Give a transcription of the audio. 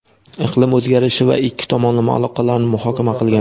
iqlim o‘zgarishi va ikki tomonlama aloqalarni muhokama qilgan.